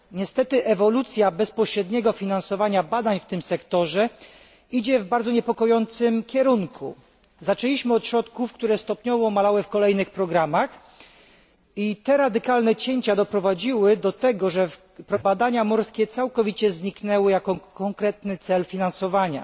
Niestety ewolucja bezpośredniego finansowania badań w tym sektorze idzie w bardzo niepokojącym kierunku. Zaczęliśmy od środków, które stopniowo malały w kolejnych programach, i te radykalne cięcia doprowadziły do tego, że w programie siódmym badania morskie całkowicie zniknęły jako konkretny cel finansowania.